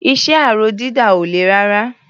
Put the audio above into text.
Iṣẹ́ aró dídà ò le rárá.